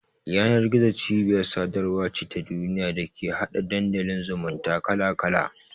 Yanar-gizo cibiyar sadarwa ce ta duniya da take hada Dandalin zumunta kala-kala.